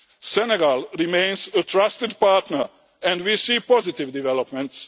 Senegal remains a trusted partner and we see positive developments.